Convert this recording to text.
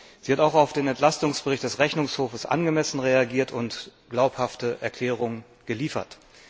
Sie hat auch auf den Entlastungsbericht des Rechnungshofs angemessen reagiert und glaubhafte Erklärungen geliefert.